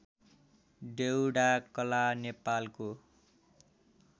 डेउडाकला नेपालको